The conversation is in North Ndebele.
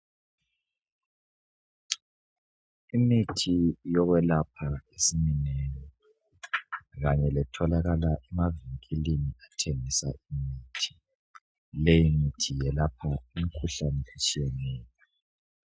imithi yokwelapha isiminengi kanye letholakala emavinkilini athengisa imithi leyi mithi yelapha imikhuhlane etshiyeneyo